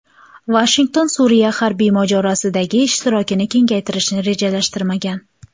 Vashington Suriya harbiy mojarosidagi ishtirokini kengaytirishni rejalashtirmagan.